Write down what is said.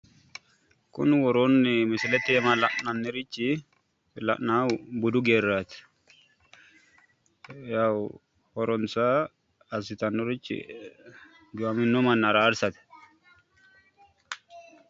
kuni worooni misleta aana la'nannirichi la'anayiihu budu mannaati yawu assitannorichi horonsa giwamino manna araarsate